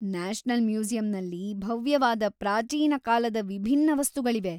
National ಮ್ಯೂಸಿಯಂನಲ್ಲಿ ಭವ್ಯವಾದ ಪ್ರಾಚೀನ ಕಾಲದ ವಿಭಿನ್ನ ವಸ್ತುಗಳಿವೆ.